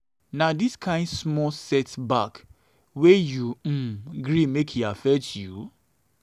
na um dis um kain small set-back wey you um gree make e affect you?